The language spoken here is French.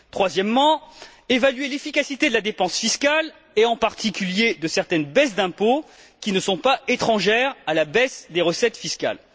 Troisièmement, évaluer l'efficacité de la dépense fiscale et, en particulier, de certaines baisses d'impôts qui ne sont pas étrangères à la baisse des recettes fiscales.